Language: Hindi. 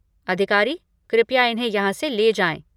अधिकारी, कृपया इन्हें यहाँ से ले जाएँ।